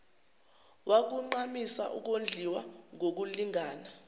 wakugqamisa ukondliwa ngokulingana